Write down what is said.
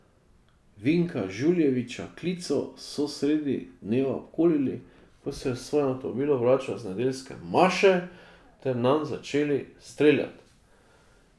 Vinka Žuljevića Klico so sredi dneva obkolili, ko se je v svojem avtomobilu vračal z nedeljske maše, ter nanj začeli streljati.